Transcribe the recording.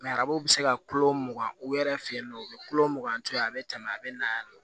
arabu bɛ se ka kulo mugan u yɛrɛ fɛ yen nɔ u bɛ kulo mugan to yen a bɛ tɛmɛ a bɛ na yɛrɛ